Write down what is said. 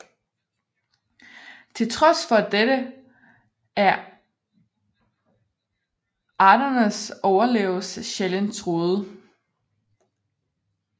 Til trods for dette er arternes overlevelse sjældent truet